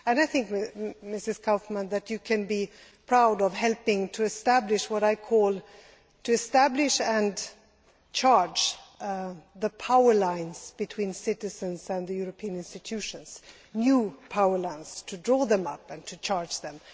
I think, Mrs Kaufmann, that you can be proud of helping to establish what I call establishing and charging the power lines between citizens and the European institutions new power lines, drawing them up and charging them.